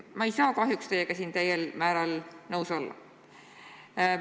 Ma ei saa aga siinkohal teiega täiel määral nõus olla.